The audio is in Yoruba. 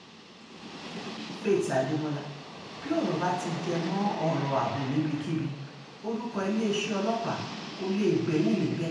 faith adébọ́là bí ọ̀rọ̀ bá ti ti jẹ mọ́ ọ̀rọ̀ ààbò níbikíbi orúkọ iléeṣẹ́ ọlọ́pàá kó lè gbẹ́yìn níbẹ̀